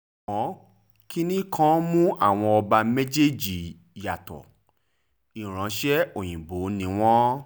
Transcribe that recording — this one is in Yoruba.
ṣùgbọ́n kinní kan mú àwọn ọba méjèèjì yàtọ̀ ìránṣẹ́ òyìnbó ni wọ́n